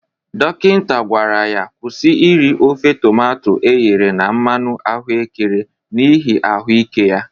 Dokinta gwara ya kwusi iri ofe tomato eghere na mmanụ ahụekere n'ihi ahụ ike ya.